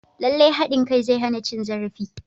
Lallai haɗin kai zai hana cin zarafi.